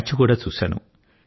match కూడా చూశాను